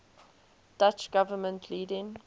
dutch government leading